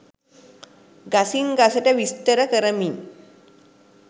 ගසින් ගසට විස්තර කරමින්